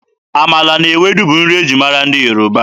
Amala na Ewedu bụ nri e ji mara ndị Yoruba.